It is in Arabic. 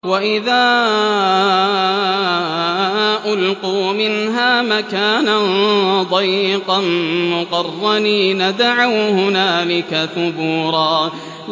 وَإِذَا أُلْقُوا مِنْهَا مَكَانًا ضَيِّقًا مُّقَرَّنِينَ دَعَوْا هُنَالِكَ ثُبُورًا